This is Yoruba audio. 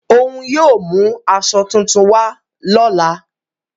Ọ̀un yóò mú àṣọ tuntùn wà lọ́la.